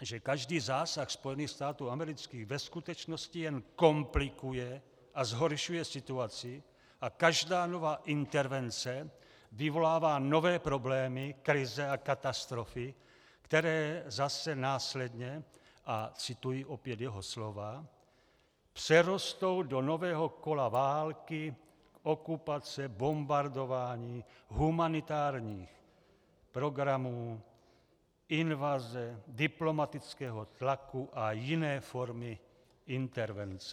že každý zásah Spojených států amerických ve skutečnosti jen komplikuje a zhoršuje situaci a každá nová intervence vyvolává nové problémy, krize a katastrofy, které zase následně - a cituji opět jeho slova: přerostou do nového kola války, okupace, bombardování, humanitárních programů, invaze, diplomatického tlaku a jiné formy intervence.